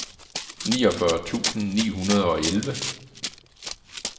niogfyrre tusind ni hundrede og elleve